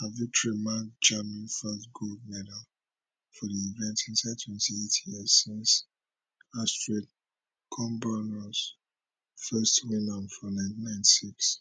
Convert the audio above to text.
her victory mark germany first gold medal for di event inside 28 years since astrid kumbernuss first win am for 1996